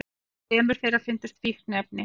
Hjá þremur þeirra fundust fíkniefni